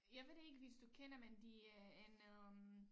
Jeg ved det ikke hvis du kender men de øh en øh